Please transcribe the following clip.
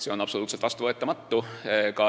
See on absoluutselt vastuvõetamatu.